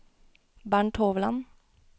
Bernt Hovland